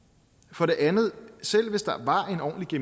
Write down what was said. for det andet selv hvis der var en ordentlig